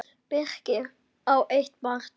Birkir á eitt barn.